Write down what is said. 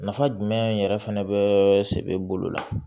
Nafa jumɛn yɛrɛ fɛnɛ bɛ se bolo la